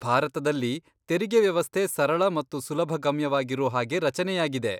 ಭಾರತದಲ್ಲಿ ತೆರಿಗೆ ವ್ಯವಸ್ಥೆ ಸರಳ ಮತ್ತು ಸುಲಭಗಮ್ಯವಾಗಿರೂ ಹಾಗೇ ರಚನೆಯಾಗಿದೆ.